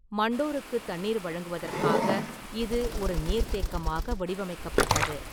மண்டோருக்குத் தண்ணீர் வழங்குவதற்காக இது ஒரு நீர்த்தேக்கமாக வடிவமைக்கப்பட்டது.